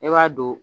E b'a don